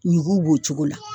Ɲugu b'o cogo la.